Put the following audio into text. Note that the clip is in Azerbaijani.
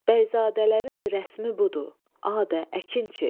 Bəyzadələrin rəsmi budur, adə, əkinçi.